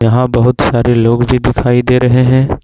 यहां बहुत सारे लोग भी दिखाई दे रहे हैं।